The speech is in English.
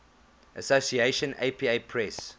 association apa press